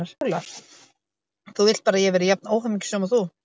SÓLA: Þú vilt bara að ég verði jafn óhamingjusöm og þú!